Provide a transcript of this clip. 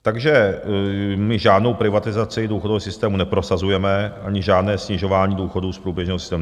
Takže my žádnou privatizaci důchodového systému neprosazujeme, ani žádné snižování důchodů z průběžného systému.